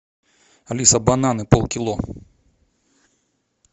алиса бананы полкило